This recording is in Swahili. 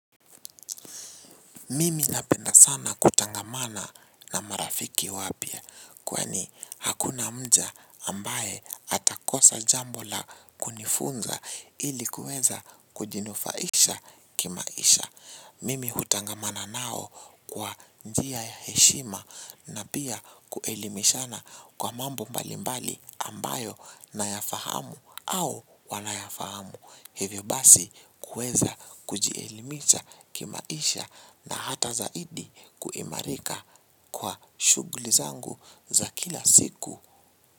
Mimi napenda sana kutangamana na marafiki wapyia kwani hakuna mja ambaye atakosa jambo la kunifunza ili kueza kujinufaisha kimaisha. Mimi hutangamana nao kwa njia ya heshima na pia kuelimishana kwa mambo mbali mbali ambayo na yafahamu au wana yafahamu. Hivyo basi kuweza kujielimisha kimaisha na hata zaidi kuimarika kwa shughuli zangu za kila siku.